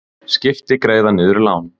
Skipti greiða niður lán